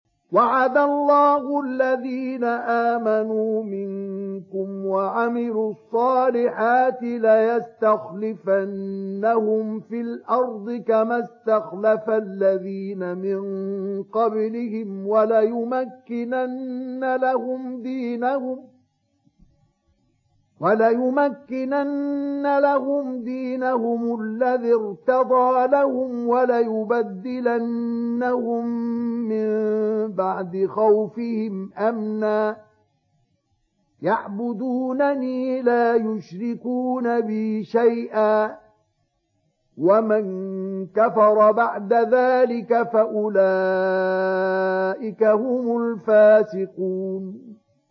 وَعَدَ اللَّهُ الَّذِينَ آمَنُوا مِنكُمْ وَعَمِلُوا الصَّالِحَاتِ لَيَسْتَخْلِفَنَّهُمْ فِي الْأَرْضِ كَمَا اسْتَخْلَفَ الَّذِينَ مِن قَبْلِهِمْ وَلَيُمَكِّنَنَّ لَهُمْ دِينَهُمُ الَّذِي ارْتَضَىٰ لَهُمْ وَلَيُبَدِّلَنَّهُم مِّن بَعْدِ خَوْفِهِمْ أَمْنًا ۚ يَعْبُدُونَنِي لَا يُشْرِكُونَ بِي شَيْئًا ۚ وَمَن كَفَرَ بَعْدَ ذَٰلِكَ فَأُولَٰئِكَ هُمُ الْفَاسِقُونَ